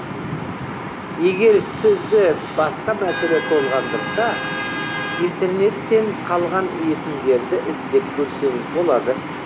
егер сізді басқа мәселе толғандырса интернеттен қалған есімдерді іздеп көрсеңіз болады